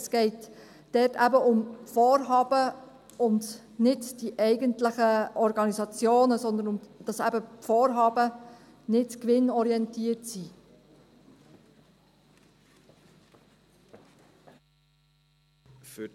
Es geht dabei eben um Vorhaben und nicht um die eigentlichen Organisationen, sondern darum, dass eben die Vorhaben nicht gewinnorientiert sind.